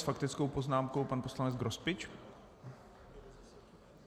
S faktickou poznámkou pan poslanec Grospič.